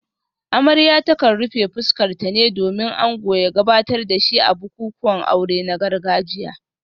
Amarya ta kan rufe fuskarta ne domin ango ya gabatar da shi a bukukuwan aure na gargajiya